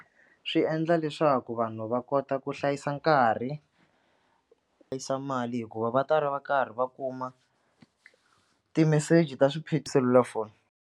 Swi endla leswaku vanhu va kota ku hlayisa nkarhi mali hikuva va ta ri va karhi va kuma ti-message ta selulafoni.